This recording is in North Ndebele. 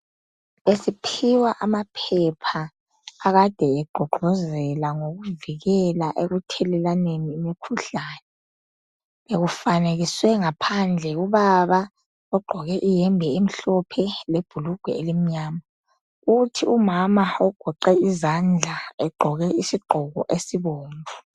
besiphiwa amaphepha akade egqugquzela ngokuvikelwa ekuthelelwaneni imikhuhlane bekufanekiswe ngaphandle ubaba ogqoke iyembe emhlophe lebhulugwe elimnyama kuthi umama ogeqe izandla egqoke isigqoko esibomvu